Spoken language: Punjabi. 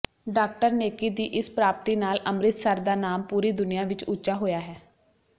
ਡਾਕਟਰ ਨੇਕੀ ਦੀ ਇਸ ਪ੍ਰਾਪਤੀ ਨਾਲ ਅੰਮ੍ਰਿਤਸਰ ਦਾ ਨਾਮ ਪੂਰੀ ਦੁਨੀਆ ਵਿੱਚ ਉਚਾ ਹੋਇਆ ਹੈ